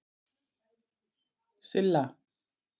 Silla